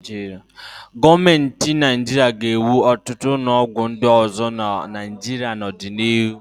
Gọọmenti Naịjirịa ga-ewu ọtụt ụlọọgwụ ndị ọzọ na Naịjirịa n'ọdịnihu.